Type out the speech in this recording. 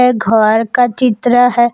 ये घर का चित्र है।